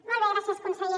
molt bé gràcies conseller